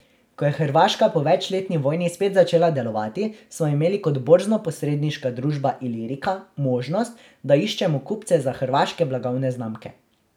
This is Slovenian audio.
Ko je Hrvaška po večletni vojni spet začela delovati, smo imeli kot borznoposredniška družba Ilirika možnost, da iščemo kupce za hrvaške blagovne znamke.